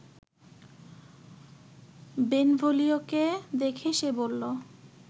বেনভোলিওকে দেখে সে বলল